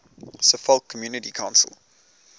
suffolk community council